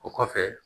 O kɔfɛ